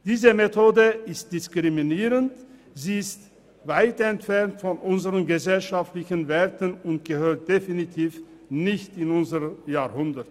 Diese Methode ist diskriminierend, weit entfernt von unseren gesellschaftlichen Werten und gehört definitiv nicht in unser Jahrhundert.